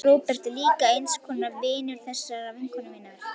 Róbert er líka eins konar vinur þessarar vinkonu minnar.